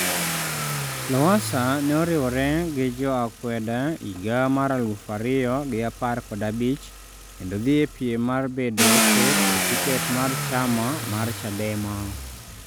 Lowassa ne oriwre gi jo akwede higa mar aluf ariyo gi apar kod abich kendo dhi e piem mar bedo ker e tiket mar chama mar chadema